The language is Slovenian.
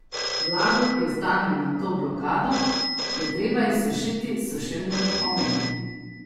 Vlago, ki ostane nad to blokado, je treba izsušiti s sušilnimi ometi.